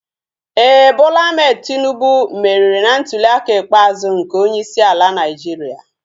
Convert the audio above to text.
Éè, Bola Ahmed Tinubu meriri na ntuliaka ikpeazụ nke onyeisi ala Naịjiria